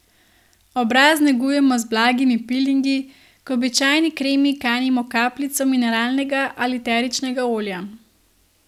Obraz negujmo z blagimi pilingi, k običajni kremi kanimo kapljico mineralnega ali eteričnega olja.